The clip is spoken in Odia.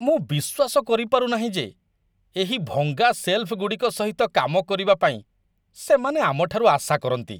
ମୁଁ ବିଶ୍ୱାସ କରିପାରୁନାହିଁ ଯେ ଏହି ଭଙ୍ଗା ସେଲଫ୍‌ଗୁଡ଼ିକ ସହିତ କାମ କରିବା ପାଇଁ ସେମାନେ ଆମଠାରୁ ଆଶା କରନ୍ତି ।